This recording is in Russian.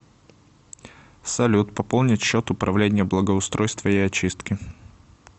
салют пополнить счет управление благоустройства и очистки